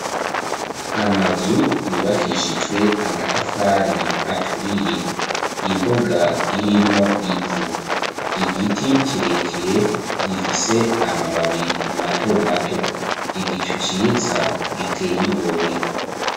Amazu yubakishijwe amatafari aturiye, imbuga irimwo ivu, igiti kirekire gifise amababi mato mato, igicuciza giteyigomwe.